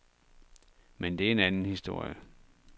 Men det er en anden historie.